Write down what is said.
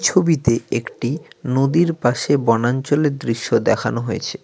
ছবিতে একটি নদীর পাশে বনাঞ্চলের দৃশ্য দেখানো হয়েছে।